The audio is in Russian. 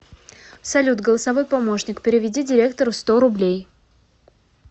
салют голосовой помощник переведи директору сто рублей